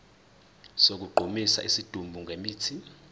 sokugqumisa isidumbu ngemithi